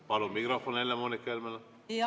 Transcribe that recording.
Palun mikrofon Helle-Moonika Helmele!